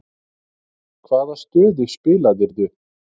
Hvaða stöðu spilaðirðu?